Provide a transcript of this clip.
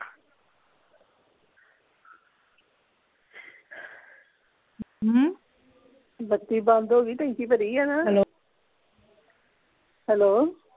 ਹਮ ਬੱਤੀ ਬੰਦ ਹੋ ਗਈ ਟੈਂਕੀ ਭਰੀ ਆ ਨਾ ਹੈਲੋ ਹੈਲੋ